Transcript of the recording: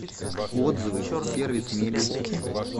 отзывы сервис мебель